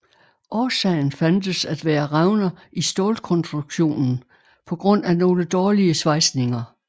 Årsagen fandtes at være revner i stålkonstruktionen pga nogle dårlige svejsninger